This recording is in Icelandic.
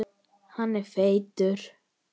Hann er feitur.